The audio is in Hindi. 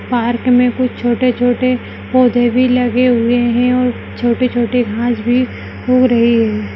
पार्क में कुछ छोटे-छोटे पौधे भी लगे हुए हैं और छोटी-छोटी घास भी हो रही है।